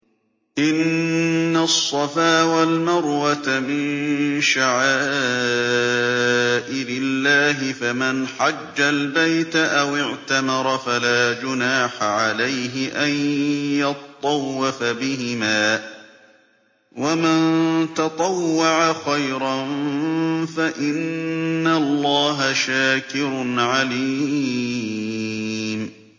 ۞ إِنَّ الصَّفَا وَالْمَرْوَةَ مِن شَعَائِرِ اللَّهِ ۖ فَمَنْ حَجَّ الْبَيْتَ أَوِ اعْتَمَرَ فَلَا جُنَاحَ عَلَيْهِ أَن يَطَّوَّفَ بِهِمَا ۚ وَمَن تَطَوَّعَ خَيْرًا فَإِنَّ اللَّهَ شَاكِرٌ عَلِيمٌ